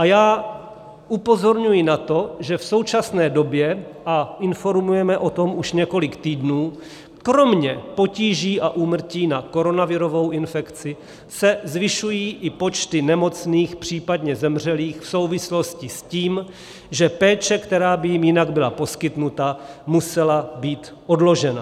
A já upozorňuji na to, že v současné době, a informujeme o tom už několik týdnů, kromě potíží a úmrtí na koronavirovou infekci se zvyšují i počty nemocných, případně zemřelých v souvislosti s tím, že péče, která by jim jinak byla poskytnuta, musela být odložena.